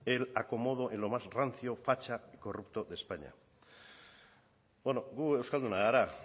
el acomodo en lo más rancio facha y corrupto de españa beno gu euskaldunak gara